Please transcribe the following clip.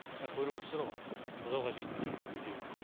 мына көріп отырсыздар ғой бұзауға жейтін шөп жоқ үйдегі